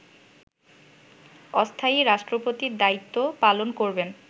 অস্থায়ী রাষ্ট্রপতির দায়িত্ব পালন করবেন